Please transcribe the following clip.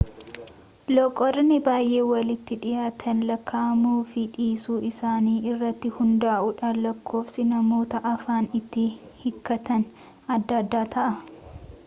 loqodoonni baay'ee walitti dhiyaatan lakkaa'amuu fi dhiisuu isaanii irratti hundaa'uudhaan lakkoofsi namoota afaan itti hiikkatanii adda adda ta'a